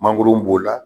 Mangoro b'o la